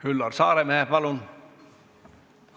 Üllar Saaremäe, palun!